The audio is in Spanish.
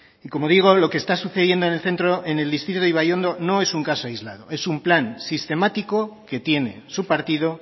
y como digo lo que está sucediendo en el centro en el distrito de ibaiondo no es un caso aislado es un plan sistemático que tiene su partido